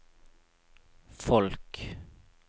folk